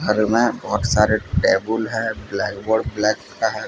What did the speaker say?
घर में बहोत सारे टेबुल है ब्लैकबोर्ड ब्लैक का है।